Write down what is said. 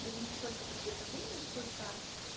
даже не сколько приготовления сколько